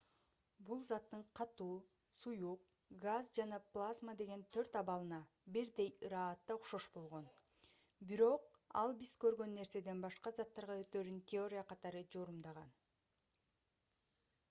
бул заттын катуу суюк газ жана плазма деген төрт абалына бирдей ыраатта окшош болгон. бирок ал биз көргөн нерседен башка заттарга өтөөрүн теория катары жорумдаган